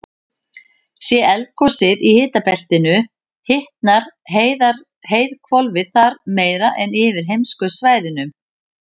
sé eldgosið í hitabeltinu hitnar heiðhvolfið þar meira en yfir heimskautasvæðunum